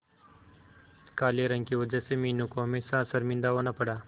काले रंग की वजह से मीनू को हमेशा शर्मिंदा होना पड़ा